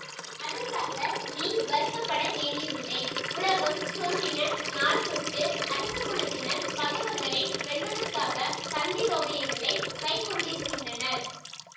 அதற்காக நீ வருத்தப்பட வேண்டியதில்லை உலகம் தோன்றின நாள் தொட்டு அரச குலத்தினர் பகைவர்களை வெல்வதற்காகத் தந்திரோபாயங்களைக் கைக்கொண்டிருக்கின்றனர்